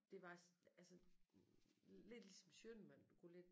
Det var altså lidt ligesom Schønnemann du kunne lidt